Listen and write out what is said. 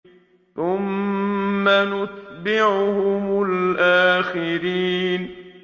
ثُمَّ نُتْبِعُهُمُ الْآخِرِينَ